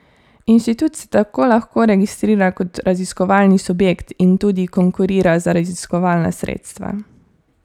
Inštitut se tako lahko registrira kot raziskovalni subjekt in tudi konkurira za raziskovalna sredstva.